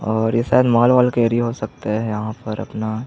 और ये शायद मॉल ऑल का एरिया हो सकता है यहाँ पर अपना--